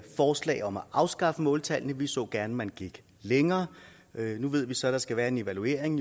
forslag om at afskaffe måltallene vi så gerne at man gik længere nu ved vi så at der skal være en evaluering